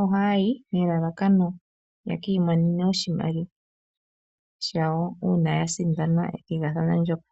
ohaya yi nelalakano yekiimonene oshimaliwa shawo uuna ya sindana ethigathano ndyoka.